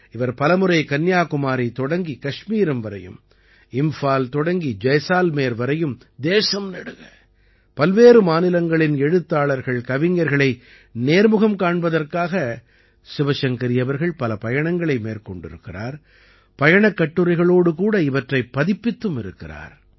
இவர் பலமுறை கன்யாகுமாரி தொடங்கி கஷ்மீரம் வரையும் இம்ஃபால் தொடங்கி ஜைசால்மேர் வரையும் தேசம் நெடுக பல்வேறு மாநிலங்களின் எழுத்தாளர்கள்கவிஞர்களை நேர்முகம் காண்பதற்காக சிவசங்கரி அவர்கள் பல பயணங்களை மேற்கொண்டிருக்கிறார் பயணக் கட்டுரைகளோடு கூட இவற்றைப் பதிப்பித்தும் இருக்கிறார்